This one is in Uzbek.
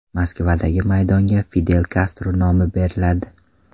Moskvadagi maydonga Fidel Kastro nomi beriladi.